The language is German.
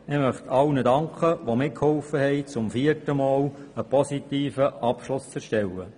Ich möchte allen danken, die mitgeholfen haben, zum vierten Mal einen positiven Abschluss zu erarbeiten.